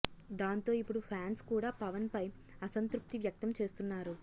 దాంతో ఇప్పుడు ఫ్యాన్స్ కూడా పవన్ పై అసంత్రుప్తి వ్యక్తం చేస్తున్నారు